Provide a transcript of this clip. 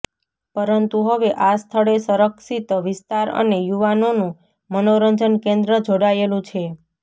પરંતુ હવે આ સ્થળે સંરક્ષિત વિસ્તાર અને યુવાનોનું મનોરંજન કેન્દ્ર જોડાયેલું છે